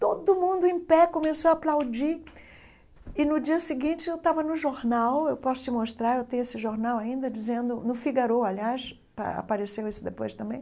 Todo mundo em pé começou a aplaudir, e no dia seguinte eu estava no jornal, eu posso te mostrar, eu tenho esse jornal ainda dizendo, no Figaro, aliás, a apareceu isso depois também,